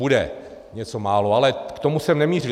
Bude něco málo, ale k tomu jsem nemířil.